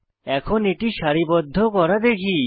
এখন এটি সারিবদ্ধ করা দেখি